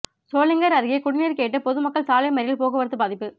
சோளிங்கர் அருகே குடிநீர் கேட்டு பொதுமக்கள் சாலை மறியல் போக்குவரத்து பாதிப்பு